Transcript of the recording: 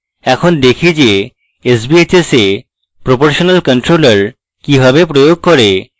এখন দেখি যে sbhs এ proportional controller কিভাবে প্রয়োগ করে